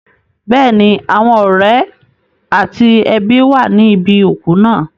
Bẹ́ẹ̀ni, àwọn ọ̀rẹ́ àti ẹbí wà níbi òkú náà.